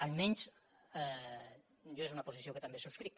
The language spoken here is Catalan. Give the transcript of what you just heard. almenys jo és una posició que també subscric